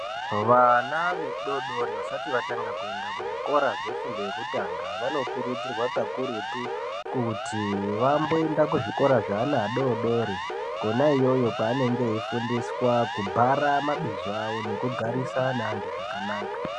Vana vadodori vasati vatanga kuenda kuzvikora zvefundo yekutanga vanokurudzirwa kakurutu kuti vamboenda kuzvikora zveana adodori kona iyoyo kwaanenge eifundiswa kubhara mabhizo avo nekugarisana zvakanaka.